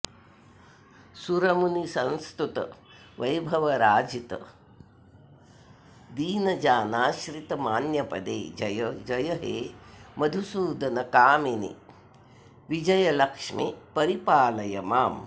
सुरमुनिसंस्तुतवैभवराजितदीनजानाश्रितमान्यपदे जय जय हे मधुसूदनकामिनि विजयलक्ष्मि परिपालय माम्